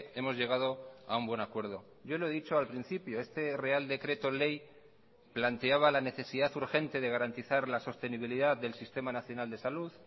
hemos llegado a un buen acuerdo yo lo he dicho al principio este real decreto ley planteaba la necesidad urgente de garantizar la sostenibilidad del sistema nacional de salud